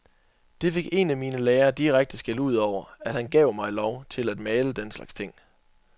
Det fik en af mine lærere direkte skældud over, at han gav mig lov til at male den slags ting.